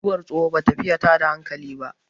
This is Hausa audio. mutuwar tsoho ba ta fiye tada hankali ba